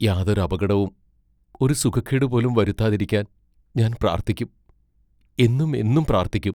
യാതൊരപകടവും ഒരു സുഖക്കേടു പോലും വരുത്താതിരിക്കാൻ ഞാൻ പ്രാർത്ഥിക്കും; എന്നും എന്നും പ്രാർത്ഥിക്കും.